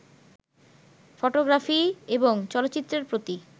photography এবং চলচ্চিত্রের প্রতি